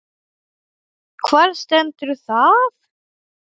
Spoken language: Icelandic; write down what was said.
Hvar stendur það?